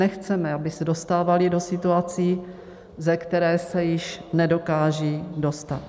Nechceme, aby se dostávaly do situací, ze kterých se již nedokážou dostat.